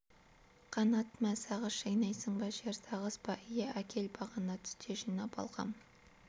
қанат мә сағыз шайнайсың ба жер сағыз ба әкел иә бағана түсте жинап алғам